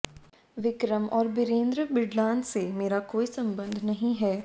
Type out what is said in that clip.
विक्रम और बिरेंद्र बिडलान से मेरा कोई संबंध नहीं है